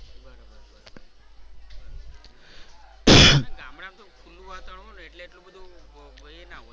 ખુલ્લુ વાતાવરણ હોય ને એટલે એટલું બધુ એ ના હોય.